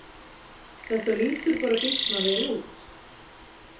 Þetta lítur bara býsna vel út